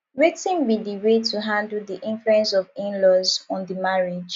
wetin be di way to handle di influence of inlaws on di marriage